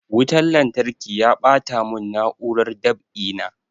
Wutan lantarki ya ɓata mun na'urar dab'i na